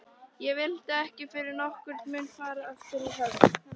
Ég vildi ekki fyrir nokkurn mun fara aftur í höll